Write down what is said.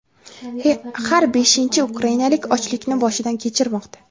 Har beshinchi ukrainalik ochlikni boshidan kechirmoqda.